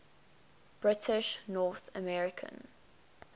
british north american